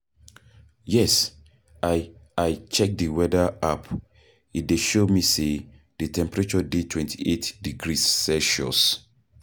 yes, i check di weather app, e dey show me say di temperature dey 28 degrees celsius..